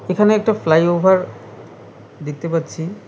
এখানে একটা ফ্লাইওভার দেখতে পাচ্ছি।